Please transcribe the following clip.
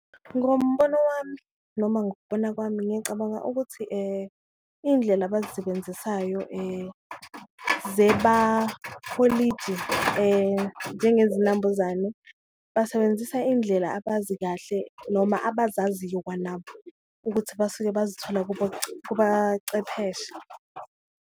Ngombono wami noma ngokubona kwami ngiyacabanga ukuthi iyindlela abazisebenzisayo njengezinambuzane, basebenzisa iyindlela abazi kahle noma abazaziyo kwanabo ukuthi basuke bazithole kubacepheshe.